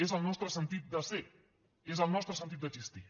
és el nostre sentit de ser és el nostre sentit d’existir